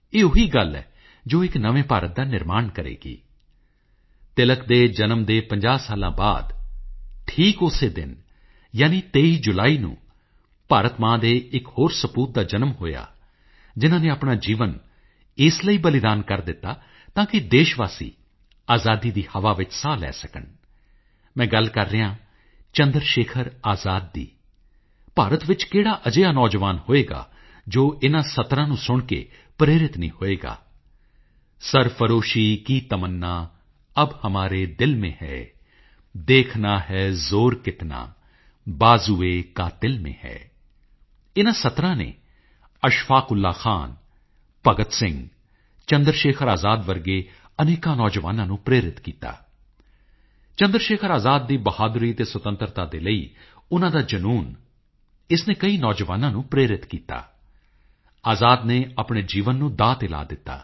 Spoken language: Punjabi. ਮੇਰੇ ਪਿਆਰੇ ਦੇਸ਼ਵਾਸੀਓ ਤੁਸੀਂ ਬਹੁਤ ਸਾਰੇ ਮੰਨੇਪ੍ਰਮੰਨੇ ਬਿਊਟੀ ਕੰਟੈਸਟ ਬਾਰੇ ਸੁਣਿਆ ਹੋਣਾ ਪਰ ਕੀ ਤੁਸੀਂ ਆਪਣੇ ਟਾਇਲਟ ਚਮਕਾਉਣ ਦੇ ਕੰਟੈਸਟ ਬਾਰੇ ਸੁਣਿਆ ਹੈ ਪਿਛਲੇ ਲਗਭਗ ਇੱਕ ਮਹੀਨੇ ਤੋਂ ਚੱਲ ਰਹੇ ਇਸ ਅਨੋਖੇ ਕੰਟੈਸਟ ਚ 50 ਲੱਖ ਤੋਂ ਜ਼ਿਆਦਾ ਸ਼ੌਚਾਲਿਆ ਨੇ ਹਿੱਸਾ ਲੈ ਵੀ ਲਿਆ ਹੈ ਇਸ ਅਨੋਖੇ ਕੰਟੈਸਟ ਦਾ ਨਾਮ ਹੈ ਸਵੱਛ ਸੁੰਦਰ ਸ਼ੌਚਾਲਿਆ ਲੋਕ ਆਪਣੇ ਸ਼ੌਚਾਲਿਆ ਨੂੰ ਸਾਫ ਰੱਖਣ ਦੇ ਨਾਲਨਾਲ ਉਸ ਨੂੰ ਰੰਗਰੋਗਨ ਕਰਕੇ ਕੁਝ ਪੇਂਟਿੰਗਜ਼ ਬਣਾ ਕੇ ਸੁੰਦਰ ਵੀ ਬਣਾ ਰਹੇ ਹਨ ਤੁਹਾਨੂੰ ਕਸ਼ਮੀਰ ਤੋਂ ਕੰਨਿਆ ਕੁਮਾਰੀ ਕੱਛ ਤੋਂ ਕਾਮਰੂਪ ਤੱਕ ਦੀਆਂ ਸਵੱਛ ਸੁੰਦਰ ਸ਼ੌਚਾਲਿਆ ਦੀਆਂ ਢੇਰ ਸਾਰੀਆਂ ਫੋਟੋਸ ਸੋਸ਼ੀਅਲ ਮੀਡੀਆ ਉੱਪਰ ਵੀ ਦੇਖਣ ਨੂੰ ਮਿਲ ਜਾਣਗੀਆਂ ਮੈਂ ਸਾਰੇ ਸਰਪੰਚਾਂ ਅਤੇ ਗ੍ਰਾਮ ਪ੍ਰਧਾਨਾਂ ਨੂੰ ਆਪਣੀ ਪੰਚਾਇਤ ਵਿੱਚ ਇਸ ਮੁਹਿੰਮ ਦੀ ਅਗਵਾਈ ਕਰਨ ਦੀ ਬੇਨਤੀ ਕਰਦਾ ਹਾਂ ਆਪਣੇ ਸਵੱਛ ਸੁੰਦਰ ਸ਼ੌਚਾਲਿਆ ਦੀ ਫੋਟੋ ਨੂੰ ਮਿਜ਼ੱਤਘਰ ਦੇ ਨਾਲ ਸੋਸ਼ਲ ਮੀਡੀਆ ਉੱਪਰ ਜ਼ਰੂਰ ਸ਼ੇਅਰ ਕਰੋ